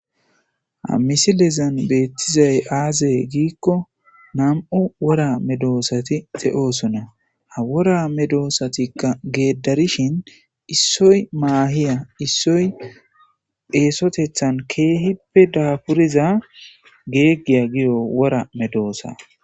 Ha misilezan beethrizay aazee giikko nam7u woraa medoosathi de7oosona;woraa medoosathikka geeddarishin issoy maahiya ,issoy eesotheththan keehippe daafuriza geeggiyaa giyo wora medoosaa.